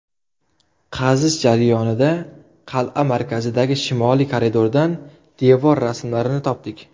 Qazish jarayonida qal’a markazidagi shimoliy koridordan devor rasmlarini topdik.